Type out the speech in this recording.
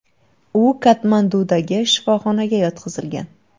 U Katmandudagi shifoxonaga yotqizilgan.